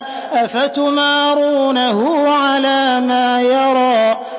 أَفَتُمَارُونَهُ عَلَىٰ مَا يَرَىٰ